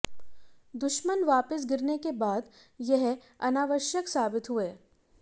दुश्मन वापस गिरने के बाद ये अनावश्यक साबित हुए